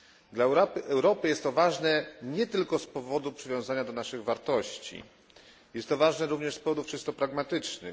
Dla Europy jest to ważne nie tylko z powodu przywiązania do naszych wartości jest to ważne również z powodów czysto pragmatycznych.